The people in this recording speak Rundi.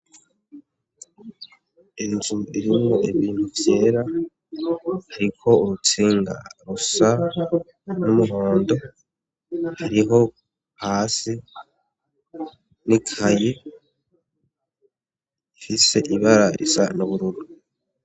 Inzu irimwo ibintu vyera hariko urutsinga rusa n'umuhondo hariho hasi n'ikaye ifise ibara risa n'ubururu.